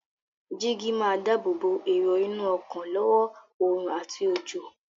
Jígí máa dáábòbò èrò inú ọkọ̀ lọ́wọ́ oòrùn àti òjò.